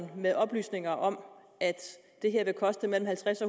med oplysninger om at det her vil koste halvtreds